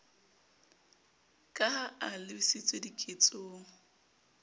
ka ha e lebisitswe diketsong